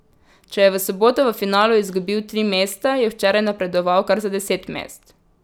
Če je v soboto v finalu izgubil tri mesta, je včeraj napredoval kar za deset mest.